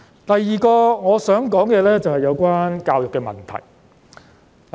第二個我想討論的，是有關教育的問題。